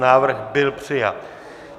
Návrh byl přijat.